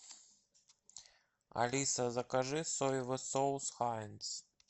алиса закажи соевый соус хайнц